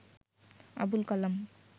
Abul Kalam